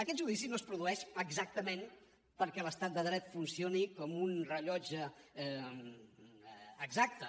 aquest judici no es produeix exactament perquè l’estat de dret funcioni com un rellotge exacte